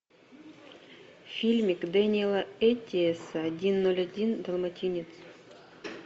фильмик дэниэла эттиэса один ноль один долматинец